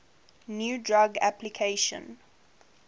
new drug application